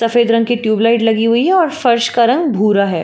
सफेद रंग की ट्यूब लाइट लगी हुई हैं और फर्श का रंग भूरा है।